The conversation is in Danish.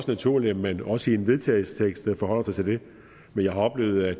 naturligt at man også i en vedtagelsestekst forholder sig til det men jeg har oplevet at